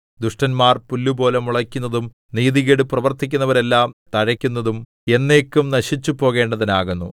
ദുഷ്ടന്മാർ പുല്ലുപോലെ മുളയ്ക്കുന്നതും നീതികേട് പ്രവർത്തിക്കുന്നവരെല്ലാം തഴയ്ക്കുന്നതും എന്നേക്കും നശിച്ചുപോകേണ്ടതിനാകുന്നു